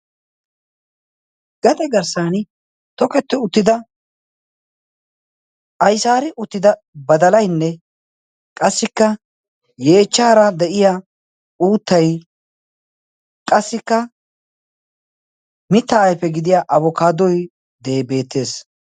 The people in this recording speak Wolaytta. gaxe garssan toketti uttida aisaari uttida badalainne qassikka yeechchaara de7iya uuttai qassikka mitta aife gidiya abokaadoi deebeettees